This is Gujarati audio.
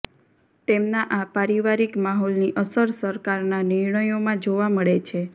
તેમના આ પારિવારિક માહોલની અસર સરકારના નિર્ણયોમાં જોવા મળે છે